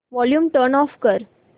volume turn off कर